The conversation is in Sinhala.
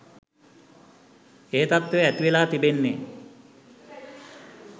ඒ තත්ත්වය ඇතිවෙලා තිබෙන්නේ.